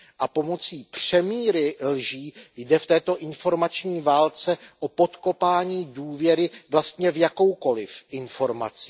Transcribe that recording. A pomocí přemíry lží jde v té informační válce o podkopání důvěry vlastně v jakoukoliv informaci.